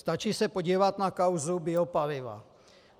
Stačí se podívat na kauzu biopaliva.